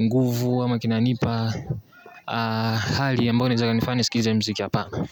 nguvu, ama kinanipa hali ambayo inaweza ikanifanya nisikilize muziki hapana.